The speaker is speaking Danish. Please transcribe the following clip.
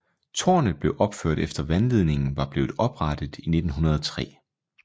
Tårnet blev opført efter vandledningen var blevet oprettet i 1903